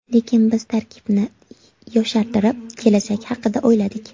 Lekin biz tarkibni yoshartirib, kelajak haqida o‘yladik.